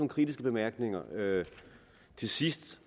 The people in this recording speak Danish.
kritiske bemærkninger til sidst